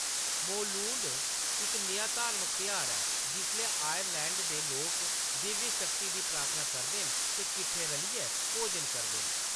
मौलूड इक नेहा धार्मक तेहार ऐ जिसलै आइलैंड दे लोक दिव्य शक्ति दी प्रार्थना करदे न ते किट्ठे रलियै भोजन करदे न।